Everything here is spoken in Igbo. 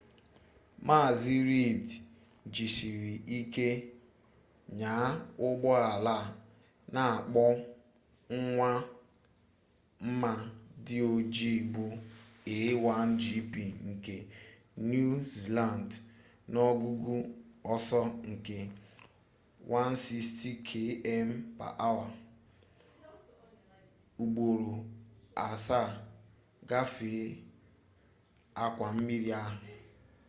mazi reid jisiri ike nyaa ụgbọala a na-akpọ nwa mma dị oji bụ a1gp nke niu ziland n'ogugo ọsọ nke 160km/h ugboro asaa gafee akwa mmiri ahụ